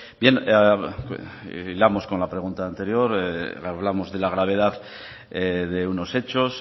bien hilamos con la pregunta anterior hablamos de la gravedad de unos hechos